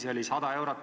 See oli 100 eurot.